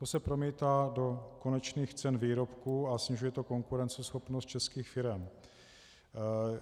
To se promítá do konečných cen výrobků a snižuje to konkurenceschopnost českých firem.